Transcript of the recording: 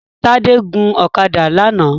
Tádé gun ọ̀kadà lánàá